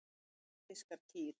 Eyfirskar kýr.